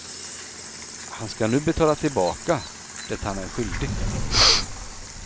Han ska nu betala tillbaka det han är skyldig.